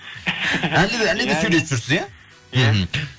әлі де әлі де сөйлесіп жүрсіз иә мхм